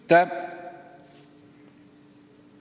Aitäh!